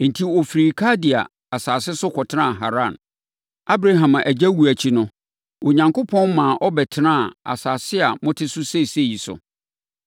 “Enti, ɔfirii Kaldea asase so kɔtenaa Haran. Abraham agya wuo akyi no, Onyankopɔn maa ɔbɛtenaa asase a mote so seesei yi so.